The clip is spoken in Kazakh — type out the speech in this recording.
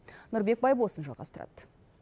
нұрбек байбосын жалғастырады